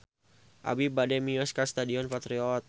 Abi bade mios ka Stadion Patriot